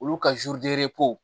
Olu ka